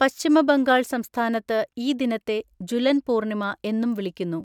പശ്ചിമ ബംഗാൾ സംസ്ഥാനത്ത് ഈ ദിനത്തെ ജുലൻ പൂർണിമ എന്നും വിളിക്കുന്നു.